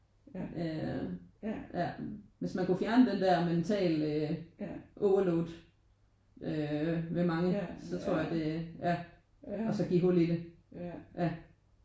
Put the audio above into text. Øh ja hvis man kunne fjerne den der mentale overload øh ved mange så tror jeg det ja og så give hul i det ja